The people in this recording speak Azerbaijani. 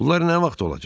Bunlar nə vaxt olacaq?